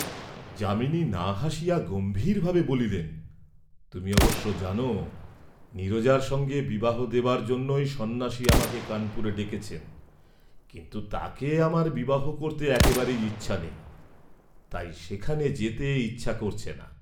যামিনী না হাসিয়া গম্ভীরভাবে বলিলেন, তুমি অবশ্য জান নীরজার সঙ্গে বিবাহ দেবার জন্যই সন্ন্যাসী আমাকে কানপুরে ডেকেছেন, কিন্তু তাকে আমার বিবাহ করতে একেবারে ইচ্ছা নেই, তাই সেখানে যেতে ইচ্ছা করছে না।